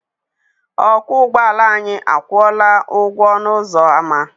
Ọkwọ ụgbọala anyị akwụọla ụgwọ ọnụ ụzọ ama.